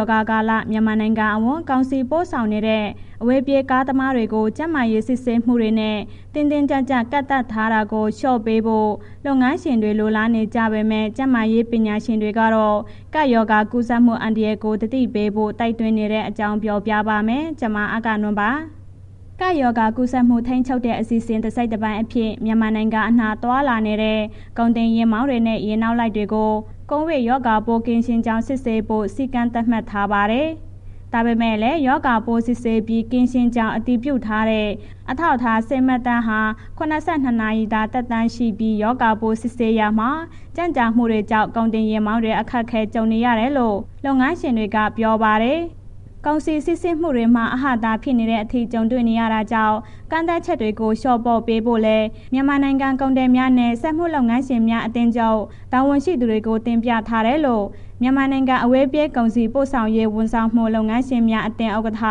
ောဂါကာလ မြန်မာနိုင်ငံအဝန်း ကုန်စည်တင်ပို့နေတဲ့ အဝေးပြေး ကားသမားတွေကို ကျန်းမာရေး စစ်ဆေးမှုတွေနဲ့ တင်းတင်းကြပ်ကြပ် ကန့်သတ်ထားတာကို လျှော့ပေးဖို့ လုပ်ငန်းရှင်တွေ လိုလားနေကြပေမဲ့ ကျန်းမာရေးပညာရှင်တွေကတော့ ရောဂါကူးစက်မှု အန္တရာယ်ကို သတိထားဖို့ တိုက်တွန်းနေတဲ့အကြောင်း ပြောပြပါမယ်။ ဗွီအိုအေမြန်မာပိုင်း သတင်းထောက် အဂ္ဂနွန် တင်ဆက်ပေးမှာပါ။ ကပ်ရောဂါကူးစက်မှု ထိန်းချုပ်တဲ့ အစီအစဉ် တစိတ်တပိုင်းအဖြစ် မြန်မာနိုင်ငံအနှံ့ သွားလာနေတဲ့ ကုန်တင်ယာဉ်မောင်းတွေနဲ့ ယာဉ်နောက်လိုက်တွေကို ကိုဗစ်ရောဂါပိုး ကင်းရှင်းကြောင်း စစ်ဆေးဖို့ စည်းကမ်းသတ်မှတ်ထားပါတယ်။ ဒါပေမဲ့လည်း ရောဂါပိုး စစ်ဆေးပြီး ကင်းရှင်းကြောင်း အတည်ပြုထားတဲ့ အထောက်အထား ဆေးမှတ်တမ်းဟာ ၇၂ နာရီသာ သက်တမ်းရှိပြီး၊ ရောဂါပိုး စစ်ဆေးရာမှာ ကြန့်ကြာမှုတွေကြောင့် ကုန်တင်ယာဉ်မောင်းတွေ အခက်အခဲ ကြုံနေရတယ်လို့ လုပ်ငန်းရှင်တွေက ပြောပါတယ်။ ကုန်စည်စီးဆင်းမှုတွေမှာ အဟန့်အတားဖြစ်နေတဲ့အထိ ကြုံနေရတာကြောင့် ကန့်သတ်ချက်တွေကို လျှော့ပေါ့ပေးဖို့လည်း မြန်မာနိုင်ငံ ကုန်သည်များနဲ့ စက်မှုလုပ်ငန်းရှင်များအသင်းချုပ် တာဝန်ရှိသူတွေကို တင်ပြထားတယ်လို့ မြန်မာနိုင်ငံ အဝေးပြေး ကုန်စည်ပို့ဆောင်ရေး ဝန်ဆောင်မှု လုပ်ငန်းရှင်များအသင်း ဥက္ကဋ္ဌ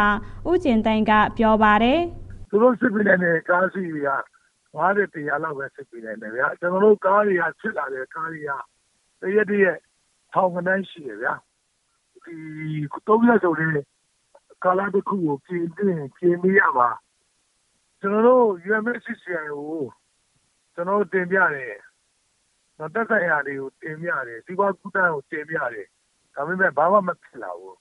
ဦးကျင်သိန်းက ပြောပါတယ်။ “သူတို့ စစ်ပေးနိုင်တဲ့ ကားအစီးရေက ၅၀၊ ၁၀၀ လောက်ပဲ စစ်ပေးနိုင်တယ်ဗျာ၊ ကျနော်တို့ ကားတွေ လာစစ်တဲ့ ကားတွေက တစ်ရက်တစ်ရက် ထောင်ဂဏန်းရှိတယ်ဗျာ၊ ဒီ ၃ ရက်ဆိုတဲ့ ကာလတစ်ခုကို ပြင်သင့်ရင် ပြင်ပေးရမှာ။ ကျနော်တို့ UMFCCI ကို ကျနော်တို့ တင်ပြတယ်၊ သက်ဆိုင်ရာတွေကို တင်ပြတယ် စီးပွားကူးသန်းကို တင်ပြတယ်၊ ဒါပေမယ့် ဘာမှမဖြစ်လာဘူး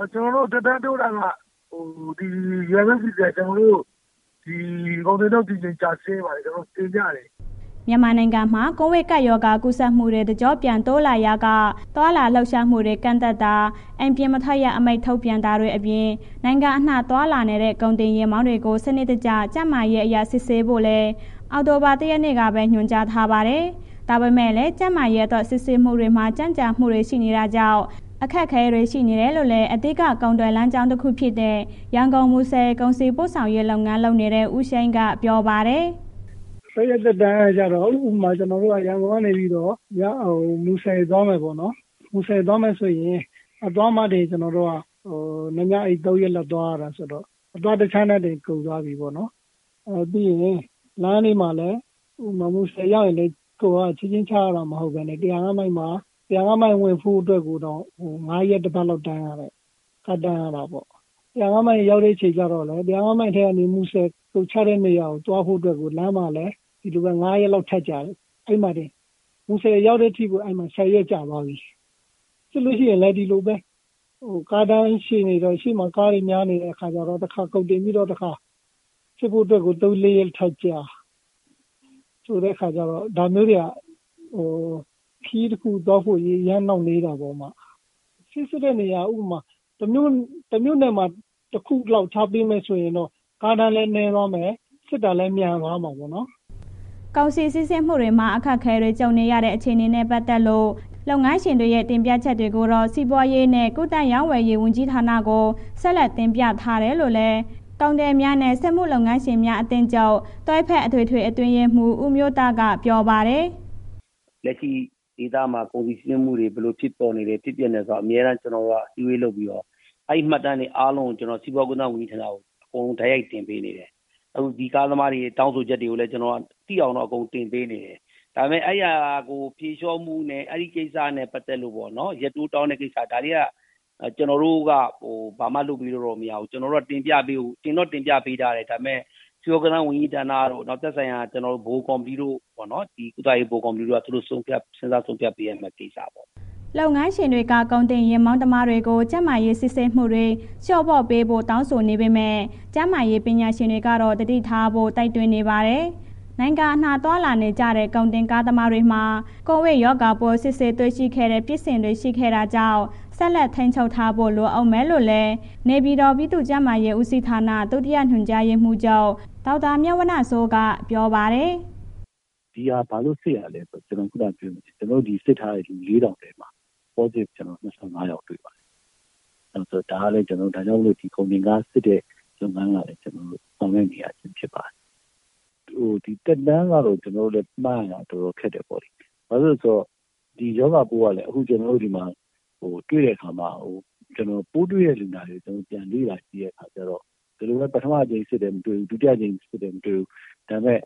၊ ကျနော်တို့ UMFCCI ကို ကုန်တင်စီးဆင်းမှုကျဆင်းပါတယ် ကျနော်တို့ တင်ပြတယ်။” မြန်မာနိုင်ငံမှာ ကိုဗစ်ကပ်ရောဂါ ကူးစက်မှုတွေ တကျော့ပြန် တိုးလာရာက သွားလာလှုပ်ရှားမှုတွေ ကန့်သတ်တာ၊ အိမ်ပြင်မထွက်ရ အမိန့် ထုတ်ပြန်တာတွေအပြင် နိုင်ငံအနှံ့ သွားလာနေတဲ့ ကုန်တင်ယာဉ်တွေကို စနစ်တကျ ကျန်းမာရေးအရ စစ်ဆေးဖို့လည်း အောက်တိုဘာလ ၁ ရက်နေ့ကပဲ ညွှန်ကြားထားပါတယ်။ ဒါပေမဲ့လည်း ကျန်းမာရေးအတွက် စစ်ဆေးမှုတွေမှာ ကြန့်ကြာမှုတွေ ရှိနေတာကြောင့် အခက်အခဲတွေ ရှိနေတယ်လို့လည်း အဓိက ကုန်သွယ်လမ်းကြောင်းတခုဖြစ်တဲ့ ရန်ကုန်-မူဆယ် ကုန်စည်ပို့ဆောင်ရေး လုပ်ငန်းလုပ်နေတဲ့ ဦးရှိန်က ပြောပါတယ်။ “သုံးရက် သက်တမ်းကကျတော့ ဥပမာ ကျနော်တို့က ရန်ကုန်ကနေ မူဆယ်သွားမယ်ပေါ့နော်၊ မူဆယ်သွားမယ်ဆိုရင် အသွားမှာတင် နှစ်ညအိပ် သုံးရက်လောက် သွားရတယ်ဆိုတော့ အသွားတစ်ခြမ်းနဲ့ တင်ကုန်သွားပြီးပေါ့နော်၊ ပြီးရင် လမ်းတွေမှာလည်း ဥပမာမူဆယ်ရောက်ရင်လည်း ကုန်တွေ ချက်ချင်းချရတာ မဟုတ်ပဲနဲ့ ၁၀၅ မိုင် ဝင်ဖို့အတွက်တောင် ၅ ရက်တစ်ပတ် တန်းရတယ်၊ ထပ်တန်းရတာပေါ့။ ၁၀၅ မိုင်ရောက်တဲ့ အချိန်ကျတော့လည်း ၁၀၅ မိုင်ကနေ မူဆယ် ကုန်ချတဲ့နေရာသွားဖို့အတွက်ကို လမ်းမှာလည်း ဒီလိုပဲ ၅ ရက်လောက် ထပ်ကြာတယ်၊ အဲ့မှာ မူဆယ်ရောက်တဲ့ အထိ ၁၀ ရက်ကြာသွားပြီ။ စစ်လို့ရှိရင်လည်း ဒီလိုပဲ ကားအတန်းကြီး ရှည်နေတော့ ကုန်တင်ပြီးတော့ တစ်ခါစစ်ဖို့အတွက်ကို ၃၊ ၄ ရက် ထပ်ကြာဆိုတဲ့အခါကျတော့ ခရီးတစ်ခုသွားဖို့ အရေး အရမ်းနှောင့်နှေးတာပေါ့။ ဆေးစစ်တဲ့နေရာ တစ်မြို့နယ်မှာ တစ်ခုလောက်ထားပေးဆိုရင်တော့ ကားအတန်းလည်း နည်းသွားမယ် စစ်တာလည်း မြန်သွားမှာပေါ့နော်။ ” ကုန်စည်စီးဆင်းမှုတွေမှာ အခက်အခဲတွေ ကြုံရတဲ့ အခြေအနေနဲ့ ပတ်သက်လို့ လုပ်ငန်းရှင်တွေရဲ့ တင်ပြချက်တွေကိုတော့ စီးပွားရေးနဲ့ ကူးသန်းရောင်းဝယ်ရေး ဝန်ကြီးဌာနကို ဆက်လက် တင်ပြထားတယ်လို့လည်း ကုန်သည်များနဲ့ စက်မှုလုပ်ငန်းရှင်များအသင်းချုပ် တွဲဖက် အထွေထွေအတွင်းရေးမှူး ဦးမျိုးသန့်က ပြောပါတယ်။ “လက်ရှိဒေသမှာ ကုန်စည်စီးဆင်းမှုတွေ ဘယ်လိုဖြစ်ပေါ်နေလဲ၊ ဖြစ်ပျက်နေတာကို အမြဲတမ်း ကျနော်တို့က အစည်းအဝေးလုပ်ပြီးတော့ အဲ့မှတ်တမ်းတွေ အားလုံးကို ကျနော်တို့ စီးပွားကူးသန်းဝန်ကြီးကို အကုန်တိုက်ရိုက်တင်နေတယ်၊ အခုဒီကားသမားတောင်းဆိုချက်တွေကို သိအောင် ကျနော်က အကုန်တင်ပေးနေတယ်၊ ဒါပေမယ့် အဲ့ဟာကို ဖြေလျှော့မှုနဲ့ အဲ့ ကိစ္စနဲ့ ပတ်သက်လို့ပေါ့နော် ရက်တိုးတောင်းတဲ့ ကိစ္စ ဒါတွေက ကျနော်တို့က ဘာမှာ လုပ်ပေးလို့မရဘူး၊ ကျနော်တို့ တင်တော့တင်ပြပေးထားတယ်၊ ဒါပေမယ့် စီးပွားကူးသန်းဝန်ကြီးဌာနတို့ နောက်သက်ဆိုင်ရာ ကော်မတီ ကုသရေးဗဟိုကော်မတီတို့ သူတို့စဉ်းစားဆုံးဖြတ်ပေးမယ်သေချာတယ်။” လုပ်ငန်းရှင်တွေက ကုန်တင်ယာဉ်မောင်းသမားတွေကို ကျန်းမာရေးစစ်ဆေးမှုတွေ လျော့ပေါ့ပေးဖို့ တောင်းဆိုနေပေမဲ့ ကျန်းမာရေး ပညာရှင်တွေကတော့ သတိထားဖို့ တိုက်တွန်းနေပါတယ်။ နိုင်ငံအနှံ့ သွားလာနေကြတဲ့ ကုန်တင်ကားသမားတွေမှာ ကိုဗစ်ရောဂါပိုး စစ်ဆေးတွေ့ရှိတဲ့ ဖြစ်စဉ်တွေ ရှိနေတာကြောင့် ဆက်လက် ထိန်းချုပ်ထားဖို့ လိုဦးမယ်လို့လည်း နေပြည်တော် ပြည်သူ့ကျန်းမာရေးဦးစီးဌာန ဒုတိယ ညွှန်ကြားရေးမှူးချုပ် ဒေါက်တာမြတ်ဝဏ္ဏစိုးက ပြောပါတယ်။ “ဒီဟာ ဘာလို့စစ်ရတာလည်းဆိုတာ့ ကျနော်ပြောသလို ကျနော်တို့ စစ်ထားတဲ့ လူ ၄၀၀၀ ထဲမှာ Positive ၂၅ ယောက်တွေ့ပါတယ်၊ ဒါကြောင့်မို့ ကုန်တင်ကားစစ်တဲ့ လုပ်ငန်းကို ဆောင်ရွက်ရခြင်းဖြစ်ပါတယ်။ သက်တမ်းကတော့ ကျနော်တို့ မှန်းရတာ တော်တော်ခက်တယ်ပေါ့လေး၊ဘာဖြစ်လဲဆိုတော့ ဒီရောဂါပိုးက အခုကျနော်တို့ ဒီမှာ တွေ့တဲ့ အခါမှာ ပိုးတွေ့တဲ့ လူနာကို ပြန်လေ့လာကြည့်တဲ့အခါကျတော့ ဒီလိုပဲပထမအကြိမ်စစ်တယ် မတွေ့ဘူး၊ ဒုတိယအကြိမ်စစ်တယ် မတွေ့ဘူး၊ ဒါပေမယ့်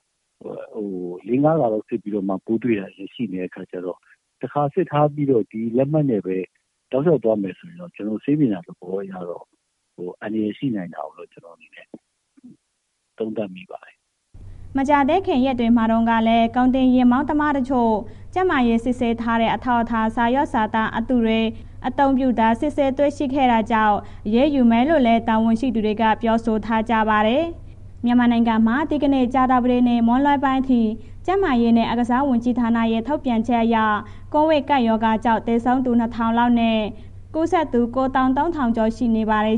၄၊ ၅ ခါ စစ်ပြီးမှ ပိုးတွေ့တာရှိနေတဲ့အခါကျတော့ တစ်ခါစစ်ထားပြီးတော့ ဒီလက်မှတ်နဲ့ပဲ လျှောက်သွားမယ်ဆိုရင် ဆေးပညာသဘောအရတော့ အန္တရာယ်လို့ မြင်တယ်။” မကြာသေးခင် ရက်တွေမှာတုန်းကလည်း ကုန်တင်ယာဉ်မောင်းသမားတချို့ ကျန်းမာရေးစစ်ဆေးထားတဲ့ အထောက်အထား စာရွက်စာတမ်း အတုတွေ အသုံးပြုတာ စစ်ဆေးတွေ့ရှိခဲ့တာကြောင့် အရေးယူမယ်လို့လည်း တာဝနရှိသူတွေက ပြောဆိုထားကြပါတယ်။ မြန်မာနိုင်ငံမှာ ဒီကနေ့ ကြာသပတေးနေ့ မွန်းလွဲပိုင်းအထိ ကျန်းမာရေးနဲ့ အားကစားဝန်ကြီးဌာနရဲ့ ထုတ်ပြန်ချက်အရ ကိုဗစ်ကပ်ရောဂါကြောင့် သေဆုံးသူ ၂ ထောင်လောက်နဲ့ ကူးစက်သူ ၉ သောင်း ၃ ထောင်ကျော်ရှိနေပါတယ်